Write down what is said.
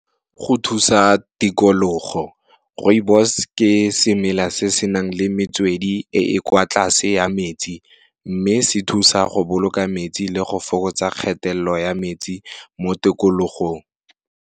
Go thusa tikologo, Rooibos ke semela se senang le metswedi e e kwa tlase ya metsi, mme se thusa go boloka metsi le go fokotsa kgatelelo ya metsi mo tikologong.